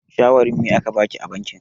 Shawarin me a ka baki a bankin?